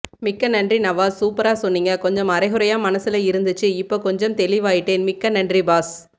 மிக்க நன்றி நவாஸ் சூப்பரா சொன்னீங்க கொஞ்சம் அரைகுறையா மனசுல இருந்துச்சு இப்போ கொஞ்சம் தெளிவாயிட்டேன் மிக்க நன்றி பாஸ்